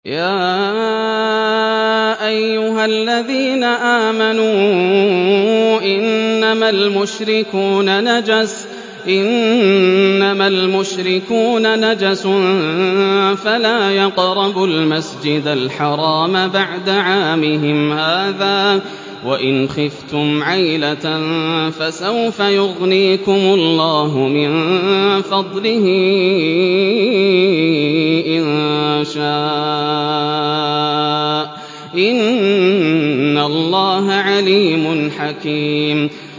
يَا أَيُّهَا الَّذِينَ آمَنُوا إِنَّمَا الْمُشْرِكُونَ نَجَسٌ فَلَا يَقْرَبُوا الْمَسْجِدَ الْحَرَامَ بَعْدَ عَامِهِمْ هَٰذَا ۚ وَإِنْ خِفْتُمْ عَيْلَةً فَسَوْفَ يُغْنِيكُمُ اللَّهُ مِن فَضْلِهِ إِن شَاءَ ۚ إِنَّ اللَّهَ عَلِيمٌ حَكِيمٌ